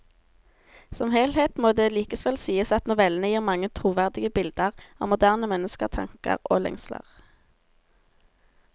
Som helhet må det likevel sies at novellene gir mange troverdige bilder av moderne menneskers tanker og lengsler.